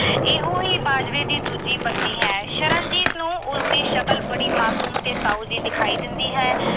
ਇਹੋ ਹੀ ਬਾਜਵੇ ਦੀ ਦੂਜੀ ਪਤਨੀ ਹੈ। ਸ਼ਰਨਜੀਤ ਨੂੰ ਉਸਦੀ ਸ਼ਕਲ ਬੜੀ ਮਾਸੂਮ ਤੇ ਸਾਊ ਜੀ ਦਿਖਾਈ ਦਿੰਦੀ ਹੈ।